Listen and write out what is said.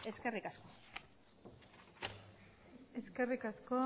eskerrik asko eskerrik asko